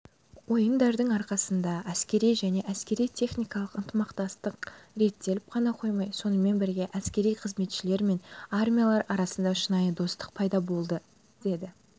ойындардың арқасында әскери және әскери-техникалық ынтымақтастық реттеліп қана қоймай сонымен бірге әскери қызметшілер мен армиялар арасында шынайы достық пайда болады деді